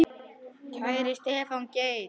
Kæri Stefán Geir.